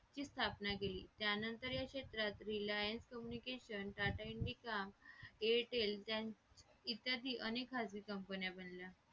ची स्थापना केली त्यानंतर या क्षेत्रात Reliance communication tata indica airtel इत्यादी अनेक खाजगी company बनल्या